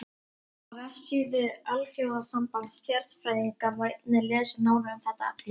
Á vefsíðu Alþjóðasambands stjarnfræðinga má einnig lesa nánar um þetta efni.